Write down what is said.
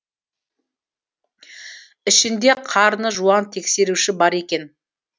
ішінде қарны жуан тексеруші бар екен